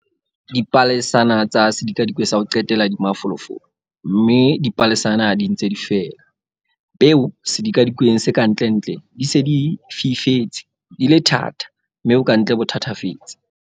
Dipalesana tsa sedikadikwe sa ho qetela di mafolofolo, mme dipalesana di ntse di fela. Peo sedikadikweng se ka ntlentle di se di fifetse, di le thata. mme bokantle bo thatafetse.